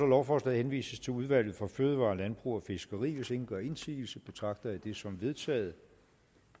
lovforslaget henvises til udvalget for fødevarer landbrug og fiskeri hvis ingen gør indsigelse betragter jeg det som vedtaget